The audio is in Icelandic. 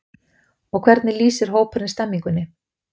Og hvernig lýsir hópurinn stemningunni?